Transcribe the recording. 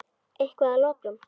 Eitthvað að lokum?